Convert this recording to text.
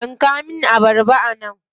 Yanka min abarbar nan.